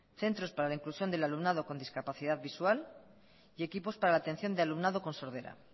centros para la inclusión del alumnado con discapacidad visual y equipos para la atención del alumnado con sordera